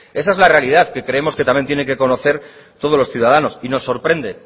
esa es la realidad que creemos que también tienen que conocer todos los ciudadanos y nos sorprende